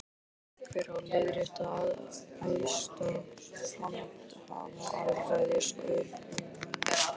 Hver á að leiðrétta æðsta handhafa alræðis öreiganna?